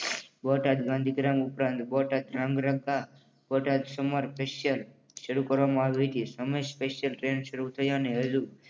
બોટાદ ગાંધીધામ ઉપરાંત Botad Dhrangadhra Botad summer special શરૂ કરવામાં આવી હતી. સમર સ્પેશિયલ ટ્રેન શરૂ થયાને હજુ